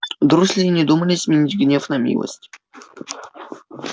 дурсли и не думали сменить гнев на милость